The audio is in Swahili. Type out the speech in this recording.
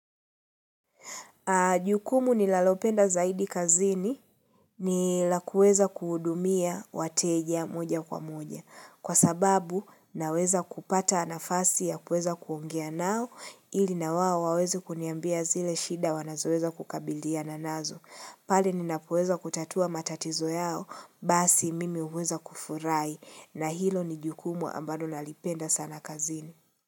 Jukumu ninalopenda zaidi kazini, ni la kuweza kuhudumia wateja moja kwa moja. Kwa sababu naweza kupata nafasi ya kuweza kuongea nao ili na wao waweze kuniambia zile shida wanazoweza kukabiliana nazo. Pale nina kueza kutatua matatizo yao basi mimi huweza kufurahi na hilo ni jukumu ambalo nalipenda sana kazini.